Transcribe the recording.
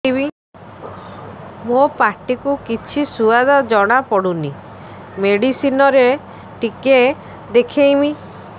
ମୋ ପାଟି କୁ କିଛି ସୁଆଦ ଜଣାପଡ଼ୁନି ମେଡିସିନ ରେ ଟିକେ ଦେଖେଇମି